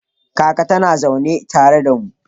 Kaka tana zaune tare da mu.